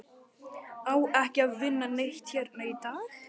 Á ekki að vinna neitt hérna í dag?